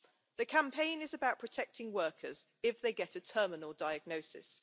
The campaign is about protecting workers if they get a terminal diagnosis.